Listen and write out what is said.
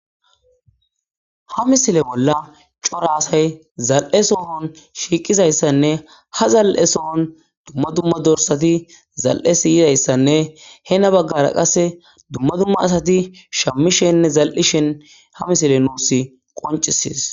Ha misile bolla coraasay zal7e soohon shiiqizayssanne ha zal7e soohon dumma dumma dorsati zal7e siyizayssanne he na baggara qasse dumma dumma asati shammishenne zal7ishen ha misile nuus qoncisis.